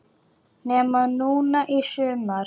Nema núna í sumar.